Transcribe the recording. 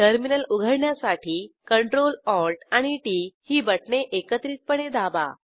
terminal उघडण्यासाठी Ctrl Alt आणि टीटी ही बटणे एकत्रितपणे दाबा